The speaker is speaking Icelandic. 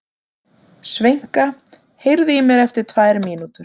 Sveinka, heyrðu í mér eftir tvær mínútur.